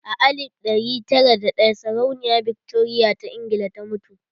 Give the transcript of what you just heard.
A alif ɗari tara da ɗaya sarauniya Victoria ta Ingila ta mutu.